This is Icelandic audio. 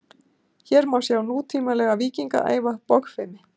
Hér má sjá nútímalega víkinga æfa bogfimi.